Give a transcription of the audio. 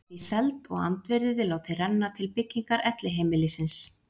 Hún var því seld og andvirðið látið renna til byggingar elliheimilisins.